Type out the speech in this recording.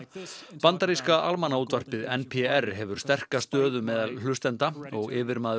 bandaríska almannaútvarpið n p r hefur sterka stöðu meðal hlustenda og yfirmaður